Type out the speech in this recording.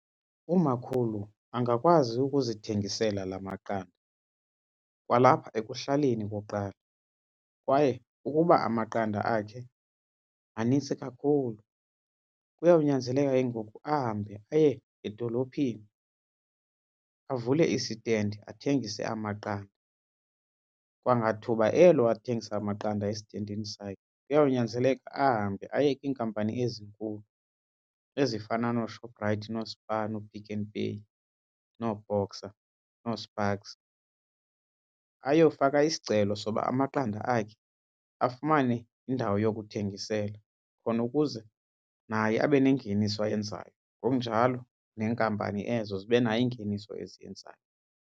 Umakhulu angakwazi ukuzithengisela la maqanda kwalapha ekuhlaleni okokuqala kwaye ukuba amaqanda akhe manintsi kakhulu kuyawunyanzeleka ke ngoku ahambe aye edolophini avule isitendi athengise amaqanda. Kwangathuba elo athengisa amaqanda esitendini sakhe, kuyawunyanzeleka ahambe aye kwiinkampani ezinkulu ezifana nooShoprite nooSpar nooPick n Pay nooBoxer nooSparks ayofaka isicelo soba amaqanda akhe afumane indawo yokuthengisela. Khona ukuze naye abe nengeniso ayenzayo ngokunjalo neenkampani ezo zibe nayo ingeniso eziyenzayo.